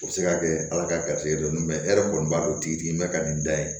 O bɛ se ka kɛ ala ka garizigɛ ye dɔrɔn e yɛrɛ kɔni b'a dɔn tigitigi bɛ ka nin da in